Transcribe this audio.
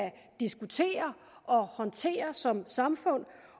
diskutere og håndtere som samfund